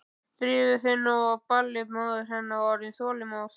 Drífðu þig nú á ballið, móðir hennar var orðin óþolinmóð.